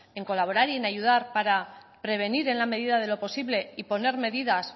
en colaborar y en ayudar para prevenir en la medida de lo posible y poner medidas